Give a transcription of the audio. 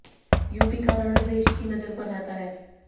UP का रण देश की नजर पर रहता है